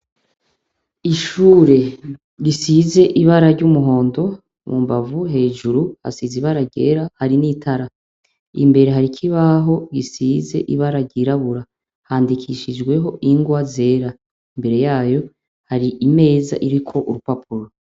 Ishure risize ibara ry'umuhondo mu mbavu, hejuru hasize ibara ryera hari n'itara, imbere hari kibaho gisize ibara ryirabura, handikishijweho ingwa zera, imbere yayo hari imeza iriko urupapuro.